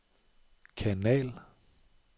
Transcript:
kanal